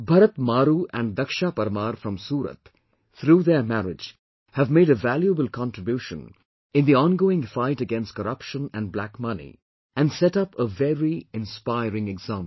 Bharat Maaroo and Dakshaa Parmar from Surat, through their marriage, have made a valuable contribution in the ongoing fight against corruption and black money and set up a very inspiring example